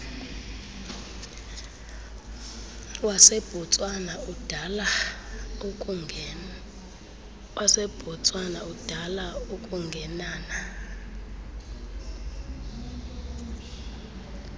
wasebotswana udala ukungenana